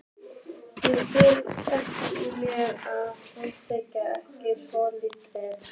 Ég skil ekkert í mér að skamma þig ekki svolítið.